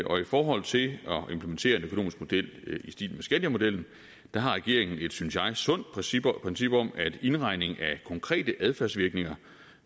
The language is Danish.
og i forhold til at implementere en økonomisk model i stil med skandiamodellen har regeringen et synes jeg sundt princip princip om at indregning af konkrete adfærdsvirkninger